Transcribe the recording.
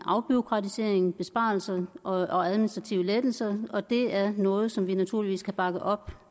afbureaukratisering besparelser og administrative lettelser og det er noget som vi naturligvis kan bakke op